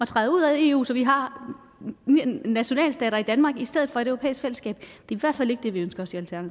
træde ud af eu så vi har en nationalstat i danmark i stedet for et europæisk fællesskab